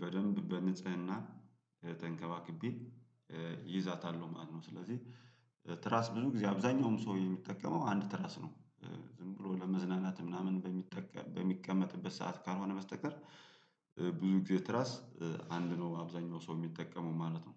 በደንብ በንጽህና ተንከባክቤ እይዛታለሁ ማለት ነው። ስለዚህ በትራስ ብዙ ጊዜ አብዛኛውም ሰው የሚጠቀመው አንድ ትራስ ነው። ዝም ብሎ ለመዝናናት ምናምን በሚጠቀ በሚቀመጥበት ሰዓት ካልሆነ በስተቀር ብዙ ጊዜ ትራስ አንድ ነው አብዛኛው ሰው የሚጠቀመው ማለት ነው።